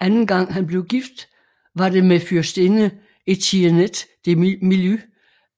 Anden gang han blev gift var det med fyrstinde Etienette de Milly